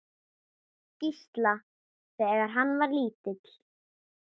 Gísla, þegar hann var lítill.